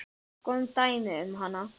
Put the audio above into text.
Skoðum dæmi um hana